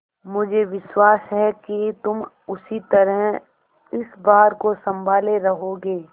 मुझे विश्वास है कि तुम उसी तरह इस भार को सँभाले रहोगे